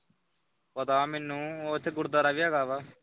ਪਤਾ ਮੈਨੂੰ ਉਥੇ ਗੁਰਦੁਆਰਾ ਵੀ ਹੈਗਾ ਵਾ।